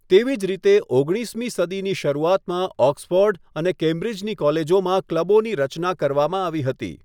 તેવી જ રીતે, ઓગણીસમી સદીની શરૂઆતમાં ઓક્સફૉર્ડ અને કેમ્બ્રિજની કોલેજોમાં ક્લબોની રચના કરવામાં આવી હતી.